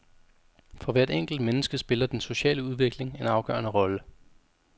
For hvert enkelt menneske spiller den sociale udvikling en afgørende rolle.